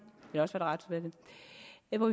eller